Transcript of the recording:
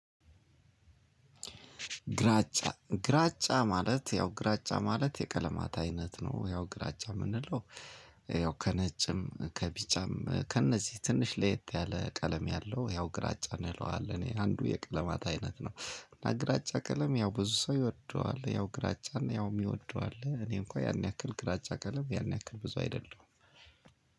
ግራጫ ግራጫ ማለት ያው ግራጫ ማለት የቀለማት አይነት ነው ያው ግራጫ የምንለው። ያው ከነጭም ከቢጫም ከእነዚህ ትንሽ ለየት ያለ ቀለም ያለው ያው ግራጫ እንለዋለን አንዱ የቅለማት አይነት ነው። እና ግራጫ ቀለም ያው ብዙ ሰው ይወደዋል ያው ግራጫና ያው የሚወደው አለ። እኔ እንኳን ያን ያክል ግራጫ ቀለም ያን ያክል ብዙ አይደለም።